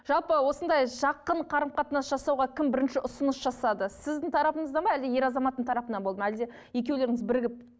жалпы осындай жақын қарым қатынас жасауға кім бірінші ұсыныс жасады сіздің тарапыңыздан ба әлде ер азаматтың тарапынан болды ма әлде екеулеріңіз бірігіп